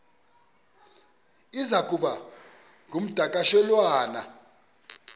iza kuba ngumdakasholwana